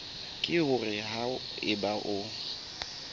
ke hore ha eba o